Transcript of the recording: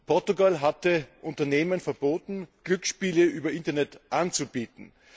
Portugal hatte Unternehmen verboten, Glücksspiele über Internet anzubieten.